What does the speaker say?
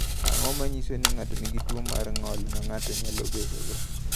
Ang’o ma nyiso ni ng’ato nigi tuwo mar ng’ol ma ng’ato nyalo bedogo?